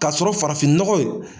Ka sɔrɔ farafinnɔgɔ